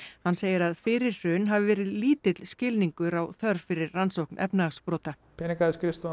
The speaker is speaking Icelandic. hann segir að fyrir hrun hafi verið lítill skilningur á þörf fyrir rannsókn efnahagsbrota